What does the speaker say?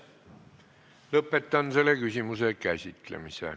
Lõpetan selle küsimuse käsitlemise.